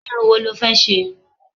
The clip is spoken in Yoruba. Irun wo lọ fẹ́ ṣe?